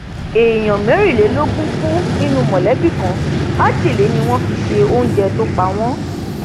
èèyàn mẹrìnlélógún kú nínú mọlẹbí kan májèlé ni wọn fi se oúnjẹ tó pa wọn